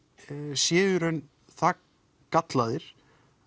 séu í raun það gallaðir